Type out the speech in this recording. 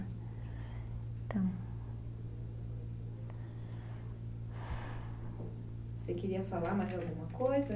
Então... Você queria falar mais alguma coisa?